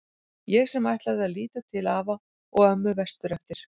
Ég sem ætlaði að líta til afa og ömmu vestur eftir.